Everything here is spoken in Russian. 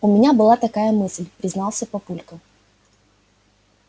у меня была такая мысль признался папулька